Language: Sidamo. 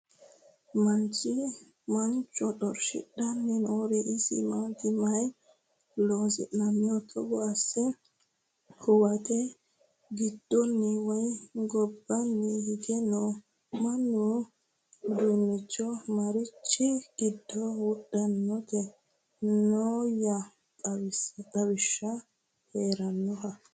Mancho xorishshidhanni noori isi maatti? Mayi loosinnoho Togo asse? hoowette gidoonni woyi gobbanni hige noo? Maa udidhinno? marichi giddo wodhittanni nooya xawishshi heeranoha?